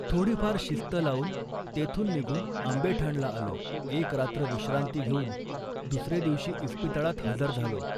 थोडीफार शिस्त लावून तेथून निघून आंबेठाणला आलो. एक रात्र विश्रांती घेऊन दुसरे दिवशी इस्पितळात हजर झालो